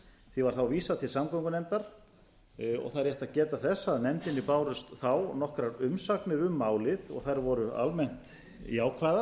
því var vísað til samgöngunefndar og það er rétt að geta þess að nefndinni bárust þá nokkrar umsagnir um málið og þær voru almennt jákvæðar